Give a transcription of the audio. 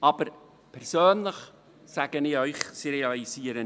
Aber persönlich sage ich Ihnen: